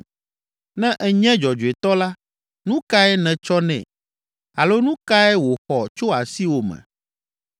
Ne ènye dzɔdzɔetɔ la, nu kae nètsɔ nɛ, alo nu kae wòxɔ tso asiwò me?